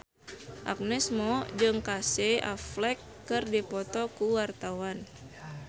Agnes Mo jeung Casey Affleck keur dipoto ku wartawan